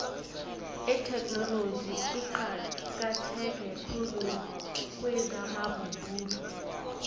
itheknoloji iqakatheke khulu kwezamabubulo